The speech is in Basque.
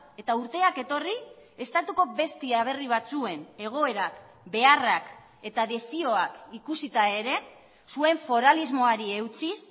eta urteak etorri estatuko beste aberri batzuen egoerak beharrak eta desioak ikusita ere zuen foralismoari eutsiz